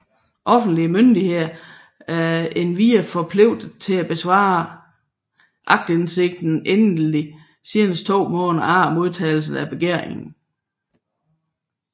Offentlige myndigheder er endvidere forpligtet til at besvare aktindsigten endeligt senest 2 måneder efter modtagelse af begæringen